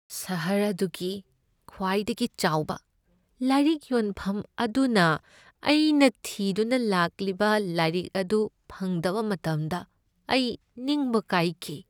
ꯁꯍꯔ ꯑꯗꯨꯒꯤ ꯈ꯭ꯋꯥꯏꯗꯒꯤ ꯆꯥꯎꯕ ꯂꯥꯏꯔꯤꯛ ꯌꯣꯟꯐꯝ ꯑꯗꯨꯅ ꯑꯩꯅ ꯊꯤꯗꯨꯅ ꯂꯥꯛꯂꯤꯕ ꯂꯥꯏꯔꯤꯛ ꯑꯗꯨ ꯐꯪꯗꯕ ꯃꯇꯝꯗ ꯑꯩ ꯅꯤꯡꯕ ꯀꯥꯏꯈꯤ꯫